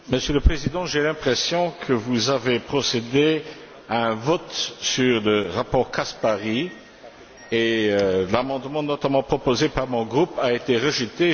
Monsieur le Président, j'ai l'impression que vous avez procédé à un vote sur le rapport Caspary, et l'amendement notamment proposé par mon groupe a été rejeté.